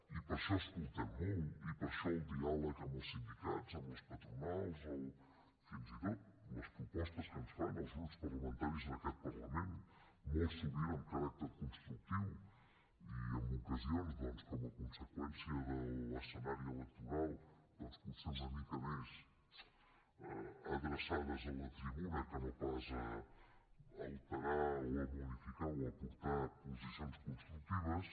i per això escoltem molt i per això el diàleg amb els sindicats amb les patronals fins i tot les propostes que ens fan els grups parlamentaris en aquest parlament molt sovint amb caràcter constructiu i en ocasions doncs com a conseqüència de l’escenari electoral doncs potser una mica més adreçades a la tribuna que no pas a alterar o a modificar o a aportar posicions constructives